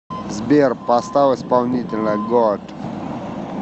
сбер поставь исполнителя гоат